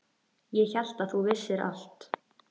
Ég hélt að þú vissir allt.